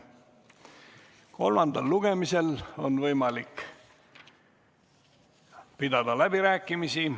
Kolmandal lugemisel on võimalik pidada läbirääkimisi.